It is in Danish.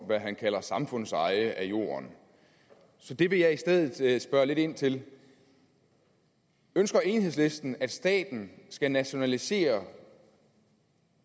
hvad han kalder samfundseje af jorden så det vil jeg i stedet spørge lidt ind til ønsker enhedslisten at staten skal nationalisere